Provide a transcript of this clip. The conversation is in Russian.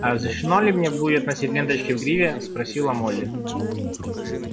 а разрешено ли мне будет носить ленточки в гриве спросила молли